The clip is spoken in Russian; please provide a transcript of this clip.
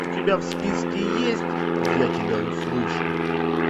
у тебя в списке есть я тебя услышу